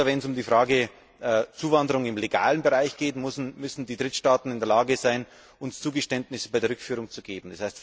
Oder wenn es um die Frage der Zuwanderung im legalen Bereich geht, müssen die Drittstaaten in der Lage sein, uns Zugeständnisse bei der Rückführung zu machen.